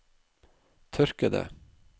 tørkede